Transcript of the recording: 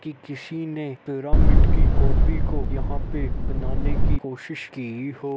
कि किसी ने पिरामिड की कापी को यहाँ पे बनाने की कोशिश की हो --